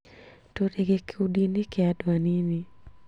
Tũrĩ gĩkundinĩ kĩa andũ anini